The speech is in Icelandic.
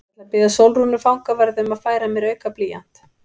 Ég ætla að biðja Sólrúnu fangavörð um að færa mér auka blýant.